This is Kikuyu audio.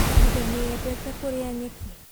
Bunda nĩ yendete kũrĩa nyeki.